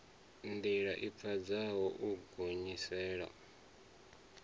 ndila i pfadzaho u gonyisela